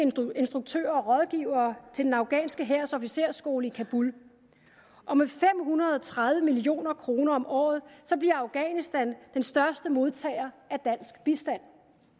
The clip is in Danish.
instruktører og rådgivere til den afghanske hærs officersskole i kabul og med fem hundrede og tredive million kroner om året bliver afghanistan den største modtager af dansk bistand